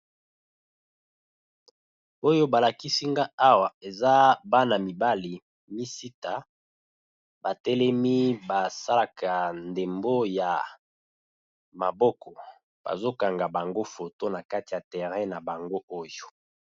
Oyo ba lakisi nga awa, eza bana mibali misita, ba telemi ba salaka ndembo ya maboko bazo kanga bango photo na kati ya terrain na bango oyo .